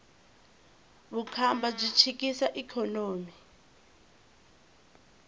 vukhamba byi chikisa ikhonomi